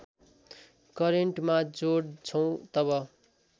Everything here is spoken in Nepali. करेन्टमा जोड्छौँ तब